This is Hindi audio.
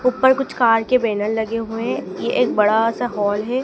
ऊपर कुछ कार के बैनर लगे हुएं ये एक बड़ा सा हॉल है।